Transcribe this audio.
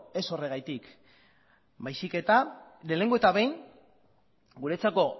ez horregatik baizik eta lehenengo eta behin guretzako